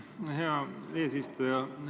Aitäh, hea eesistuja!